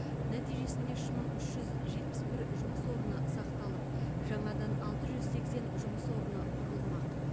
нәтижесінде үш мың үш жүз жетпіс бір жұмыс орны сақталып жаңадан алты жүз сексен жұмыс орны құрылмақ